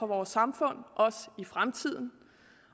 vores samfund også i fremtiden